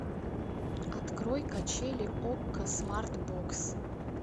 открой качели окко смарт бокс